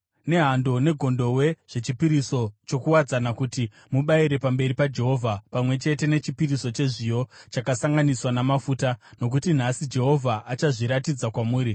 nehando negondobwe zvechipiriso chokuwadzana kuti mubayire pamberi paJehovha, pamwe chete nechipiriso chezviyo chakasanganiswa namafuta. Nokuti nhasi Jehovha achazviratidza kwamuri.’ ”